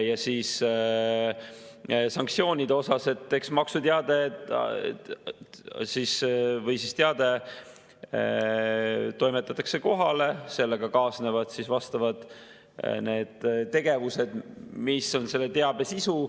Ja sanktsioonide kohta: teade toimetatakse kohale, sellega kaasnevad vastavad tegevused, mis on selle teabe sisu.